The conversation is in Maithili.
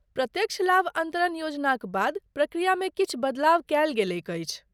प्रत्यक्ष लाभ अन्तरण योजनाक बाद प्रक्रियामे किछु बदलाव कयल गेलैक अछि।